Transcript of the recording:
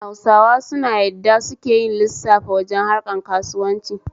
Hausawa suna yadda suke yin lissafa wajen harkan kauswanci